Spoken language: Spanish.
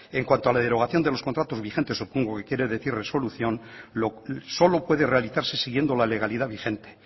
en cuanto a la derogación de los contratos vigentes supongo que quiere decir resolución solo puede realizarse siguiendo la legalidad vigente